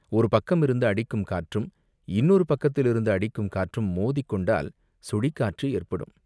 ஒரு பக்கமிருந்து அடிக்கும் காற்றும், இன்னொரு பக்கத்திலிருந்து அடிக்கும் காற்றும் மோதிக் கொண்டால் சுழிக்காற்று ஏற்படும்.